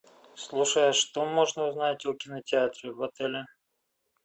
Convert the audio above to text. слушай а что можно узнать о кинотеатре в отеле